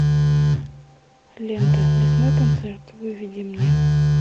лента лесной концерт выведи мне